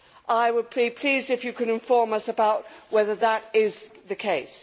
I would be pleased if you can inform us about whether that is the case.